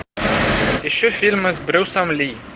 ищу фильмы с брюсом ли